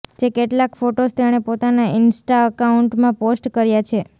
જે કેટલાંક ફોટોઝ તેણે પોતાના ઈન્સ્ટા એકાઉન્ટમાં પોસ્ટ કર્યા છે